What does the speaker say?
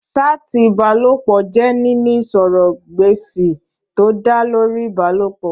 Ṣáàtì ìbálòpọ̀ jẹ́ níní ìsọ̀rọ̀ gbèsì tó dá lórí ìbálòpọ̀